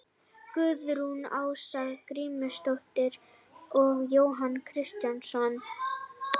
Guðrún Ása Grímsdóttir og Jónas Kristjánsson.